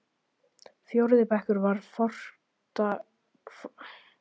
Fjórði bekkur var fortakslaust erfiðasti bekkur skólans.